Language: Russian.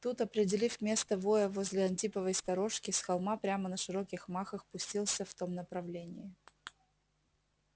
тут определив место воя возле антиповой сторожки с холма прямо на широких махах пустился в том направлении